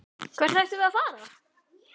Hvert ættum við að fara?